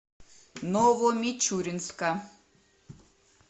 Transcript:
новомичуринска